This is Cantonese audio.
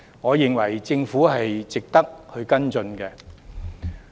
我認為政府應該跟進。